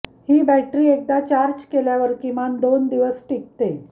ही battery एकदा charge केल्यावर किमान दोन दिवस टिकते